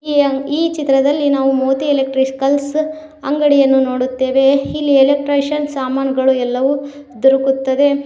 ಈ ಅ ಈ ಚಿತ್ರದಲ್ಲಿ ನಾವು ಮೋದಿ ಎಲೆಕ್ಟ್ರಿಕಲ್ ಅಂಗಡಿಯನ್ನು ನೋಡುತ್ತೇವೆ ಇಲ್ಲಿ ಎಲೆಕ್ಟ್ರಿಷಿಯನ್ ಸಾಮಾನುಗಳು ಎಲ್ಲವು ದೊರಕುತ್ತದೆ.